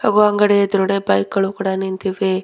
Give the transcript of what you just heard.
ಹಾಗೂ ಅಂಗಡಿಯ ಎದ್ರುಗಡೆ ಬೈಕ್ ಗಳು ಕೂಡ ನಿಂತಿವೆ.